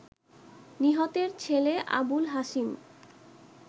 নিহতের ছেলে আবুল হাসিম